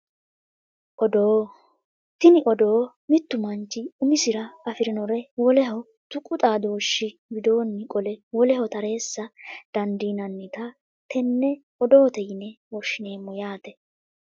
Odoo tini odoo mittu manchi umisira afirinore woleho tuqu xaadooshshi widoonni qolle woleho tareessa dandiinannita tenne odoote yine woshshineemmo yaate